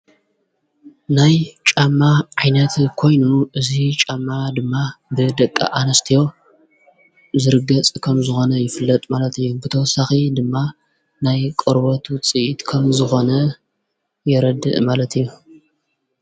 ናይ ጫማ ዓይነት ኮይኑ እዙይ ጫማ ድማ ብ ደቀ ኣንስትዮ ዘርገ ጽ ኸም ዝኾነ ይፍለጥ ማለት እዩ ብተወሳኺ ድማ ናይ ቖርበቱ ጽእትከም ዝኾነ የረድእ ማለት እዩ።